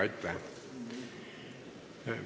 Aitäh!